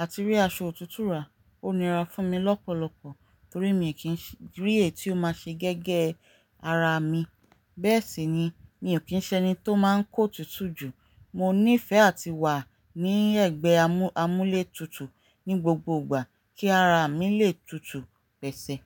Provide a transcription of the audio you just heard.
àti rí aṣọ òtútù rà ó nira fún mi lọ́pọ̀lọpọ̀ torí mi kìi rí èyí tí ó máa ṣe gẹ́gẹ́ ara mi. Bẹ́ẹ̀ sì ni mi ò kín ṣe ẹni tó máa ń kó òtútù jù. Mo nífẹ̀ẹ́ àti wà ní ẹ̀gbẹ́ amú-amúlétutù ní gbogbo ìgbà kí ara mi lè tutù pẹ̀sẹ̀